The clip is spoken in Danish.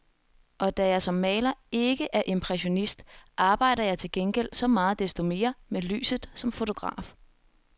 Og da jeg som maler ikke er impressionist, arbejder jeg til gengæld så meget desto mere med lyset som fotograf.